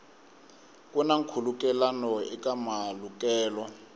ku na nkhulukelano eka malukelo